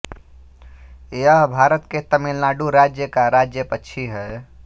यह भारत के तमिलनाडु राज्य का राज्यपक्षी है